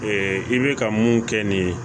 i bɛ ka mun kɛ nin ye